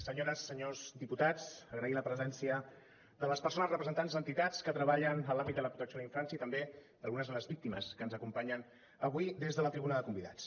senyores senyors diputats agrair la presència de les persones representants d’entitats que treballen en l’àmbit de la protecció de la infància i també d’algunes de les víctimes que ens acompanyen avui des de la tribuna de convidats